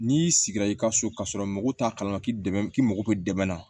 N'i sigira i ka so ka sɔrɔ mɔgɔw t'a kalama k'i dɛmɛ i mako bɛ dɛmɛ na